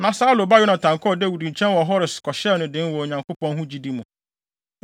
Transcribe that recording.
Na Saulo ba Yonatan kɔɔ Dawid nkyɛn wɔ Hores kɔhyɛɛ no den wɔ Onyankopɔn ho gyidi mu.